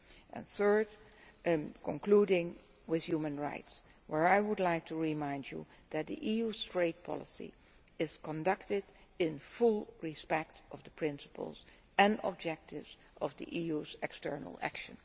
And third I am concluding with human rights, where I would like to remind you that the EU's trade policy is conducted in full respect of the principles and objectives of the EU's external action.